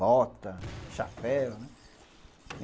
Bota, chapéu, né?